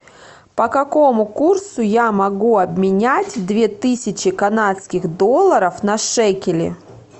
по какому курсу я могу обменять две тысячи канадских долларов на шекели